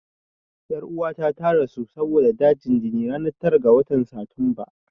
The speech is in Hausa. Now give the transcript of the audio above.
Ƴan uwata ta rasu saboda dajin jini ranar tara ga watan Satumba.